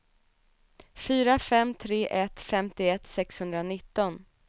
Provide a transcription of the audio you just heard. fyra fem tre ett femtioett sexhundranitton